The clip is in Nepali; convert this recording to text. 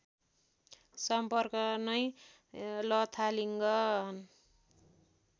सम्पर्क नै लथालिङ्ग